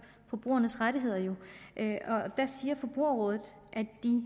forbrugernes rettigheder siger forbrugerrådet